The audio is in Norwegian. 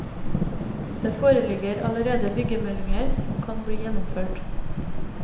Det foreligger allerede byggemeldinginger som kan bli gjennomført.